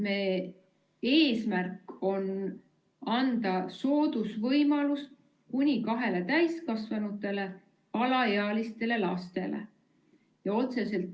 Eesmärk on anda soodusvõimalus kuni kahele täiskasvanule ja alaealistele lastele.